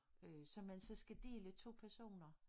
Øh som man så skal dele 2 personer